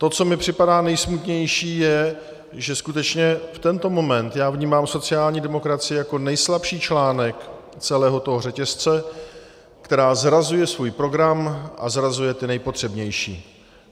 To, co mi připadá nejsmutnější, je, že skutečně v tento moment já vnímám sociální demokracii jako nejslabší článek celého toho řetězce, která zrazuje svůj program a zrazuje ty nejpotřebnější.